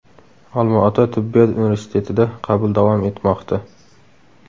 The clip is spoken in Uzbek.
Olmaota tibbiyot universitetida qabul davom etmoqda!